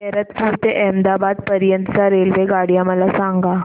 गैरतपुर ते अहमदाबाद पर्यंत च्या रेल्वेगाड्या मला सांगा